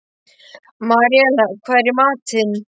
Maríella, hvað er í matinn?